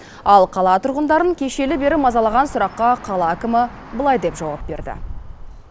ал қала тұрғындарын кешелі бері мазалаған сұраққа қала әкімі былай деп жауап берді